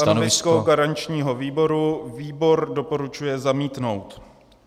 Stanovisko garančního výboru - výbor doporučuje zamítnout.